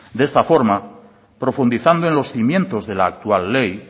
de esta forma profundizando en los cimientos de la actual ley